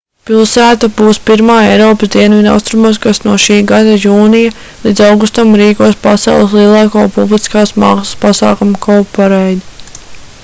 pilsēta būs pirmā eiropas dienvidaustrumos kas no šī gada jūnija līdz augustam rīkos pasaules lielāko publiskās mākslas pasākumu cowparade